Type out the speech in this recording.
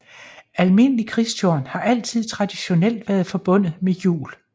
Almindelig Kristtorn har altid traditionelt været forbundet med jul